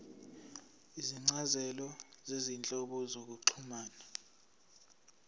izincazelo zezinhlobo zokuxhumana